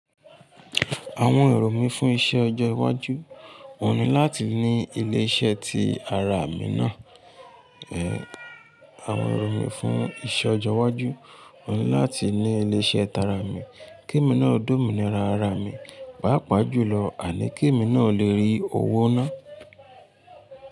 Àwọn èrò mí fún iṣẹ́ ọjọ́ iwájú òun ni láti ní ilé iṣẹ́ tí ara mi náà. Àwọn èrò mí fún iṣẹ́ ọjọ́ iwájú wòhun ni láti ní ilé iṣẹ́ tara mi, kí èmi náà ó dùn mí ra ara mi. Pàápàá jùlọ, àní kí èmi náà lè rí owó náà.